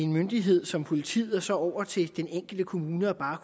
myndighed som politiet og så over til den enkelte kommune bare